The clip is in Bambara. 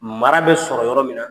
Mara bɛ sɔrɔ yɔrɔ min na